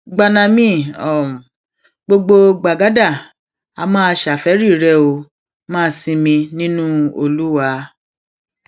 gbanami um gbogbo gbàgádà á máa um ṣàfẹẹrí rẹ ó máa sinmi nínú olúwa